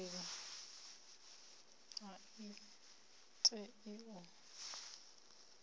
seli a i tei u